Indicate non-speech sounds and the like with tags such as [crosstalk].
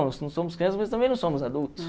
[unintelligible] Nós não somos crianças, mas também não somos adultos.